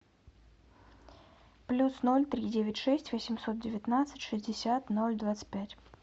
плюс ноль три девять шесть восемьсот девятнадцать шестьдесят ноль двадцать пять